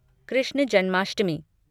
Krishna Janmashtami